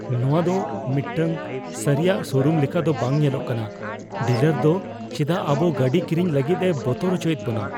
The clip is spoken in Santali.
ᱱᱚᱶᱟ ᱫᱚ ᱢᱤᱫᱴᱟᱝ ᱥᱟᱹᱨᱤᱭᱟᱜ ᱥᱳᱨᱩᱢ ᱞᱮᱠᱟ ᱫᱚ ᱵᱟᱝ ᱧᱮᱞᱚᱜ ᱠᱟᱱᱟ ᱾ ᱰᱤᱞᱟᱨ ᱫᱚ ᱪᱮᱫᱟᱜ ᱟᱵᱚ ᱜᱟᱹᱰᱤ ᱠᱤᱨᱤᱧ ᱞᱟᱹᱜᱤᱫᱼᱮ ᱵᱚᱛᱚᱨ ᱚᱪᱚᱭᱮᱫ ᱵᱚᱱᱟ ᱾